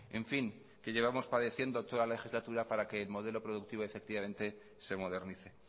en fin que llevamos padeciendo toda la legislatura para que el modelo productivo efectivamente se modernice